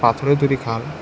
পাথরে তৈরি খাল--